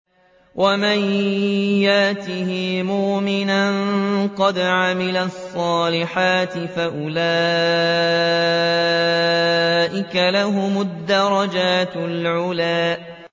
وَمَن يَأْتِهِ مُؤْمِنًا قَدْ عَمِلَ الصَّالِحَاتِ فَأُولَٰئِكَ لَهُمُ الدَّرَجَاتُ الْعُلَىٰ